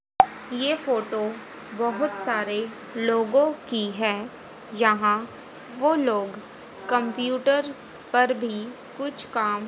ये फोटो बहोत सारे लोगों की है यहां वो लोग कंप्यूटर पर भी कुछ काम--